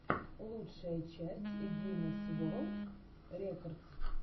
лучшая часть гинесс ворлд рекордс